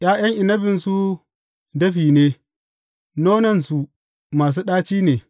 ’Ya’yan inabinsu dafi ne, nonnansu masu ɗaci ne.